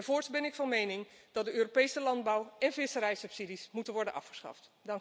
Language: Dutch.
Voorts ben ik van mening dat de Europese landbouw en visserijsubsidies moeten worden afgeschaft.